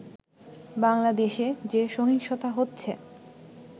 বাংলাদেশে যে সহিংসতা হচ্ছে